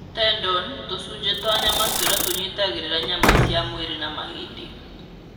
Tendon(tũcunjĩ twa nyama tũrĩa tũnyitagĩrĩra nyama cia mwĩrĩ na mahĩndĩ.)